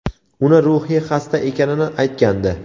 uni ruhiy xasta ekanini aytgandi.